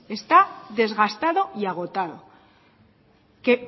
está desgastado y agotado